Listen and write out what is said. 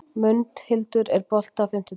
Mundhildur, er bolti á fimmtudaginn?